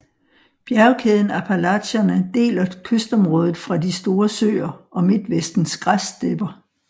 Bjergkæden Appalacherne deler kystområdet fra de Store Søer og Midtvestens græsstepper